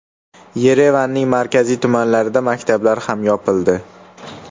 Yerevanning markaziy tumanlarida maktablar ham yopildi.